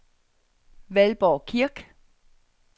Valborg Kirk